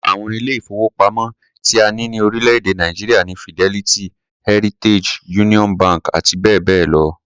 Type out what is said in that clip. Lára àwọn ilé-ìfowópamọ́ tí a ní ní orílẹ̀-èdè Nàìjíríà ni Fidelity, Heritage, Union bank àti bẹ́ẹ̀ bẹ́ẹ̀ lọ.